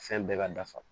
Fɛn bɛɛ ka dafa